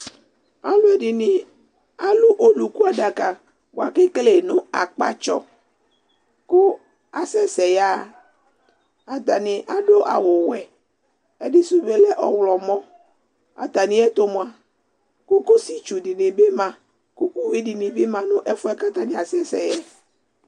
aloɛdini alo oluku adaka boa ko ekele no akpatsɔ ko asɛ sɛ ya ɣa atani ado awu wɛ ɛdi so bi lɛ ɔwlɔmɔ atamiɛto moa kokosi tsu di ni bi ma ko uwi di ni bi ma no ɛfoɛ k'atani asɛ sɛ yɛ